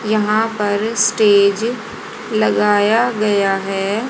यहां पर स्टेज लगाया गया है।